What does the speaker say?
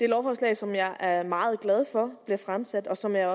lovforslag som jeg er meget glad for er blevet fremsat og som jeg